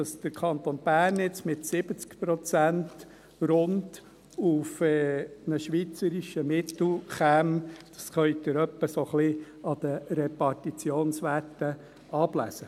Dass der Kanton Bern jetzt mit 70 Prozent rund auf ein schweizerisches Mittel käme, das können Sie ungefähr an den Repartitionswerten ablesen.